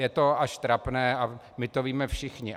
Je to až trapné a my to víme všichni.